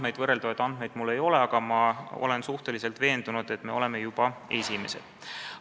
Uusi võrreldavaid andmeid mul ei ole, aga ma olen üsna veendunud, et me oleme juba esimesed.